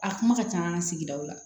A kuma ka ca an ka sigidaw la